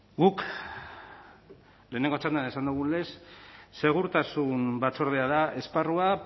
guk lehenengo txandan esan dugun lez segurtasun batzordea da esparrua